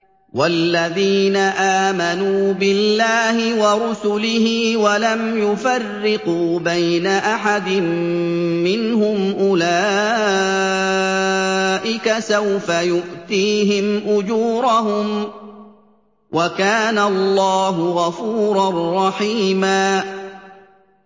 وَالَّذِينَ آمَنُوا بِاللَّهِ وَرُسُلِهِ وَلَمْ يُفَرِّقُوا بَيْنَ أَحَدٍ مِّنْهُمْ أُولَٰئِكَ سَوْفَ يُؤْتِيهِمْ أُجُورَهُمْ ۗ وَكَانَ اللَّهُ غَفُورًا رَّحِيمًا